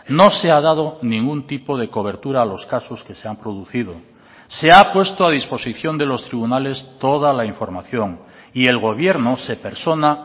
no se ha dado ningún tipo de cobertura a los casos que se han producido se ha puesto a disposición de los tribunales toda la información y el gobierno se persona